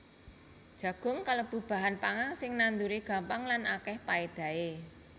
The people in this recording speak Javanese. Jagung kalebu bahan pangan sing nanduré gampang lan akèh paédahé